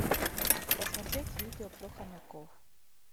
посмотреть видео про хомяков